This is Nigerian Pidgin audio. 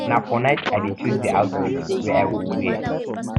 na for night i dey choose di outfit wey i go wear